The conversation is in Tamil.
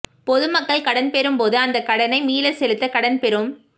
பொது மக்கள் கடன் பெறும்போது அந் தக் கடனை மீளச் செலுத்த கடன் பெறும்